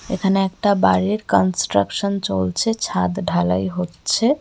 এখানে একটা বাড়ির কান্সট্রাকসান চলছে ছাদ ঢালাই হচ্ছে.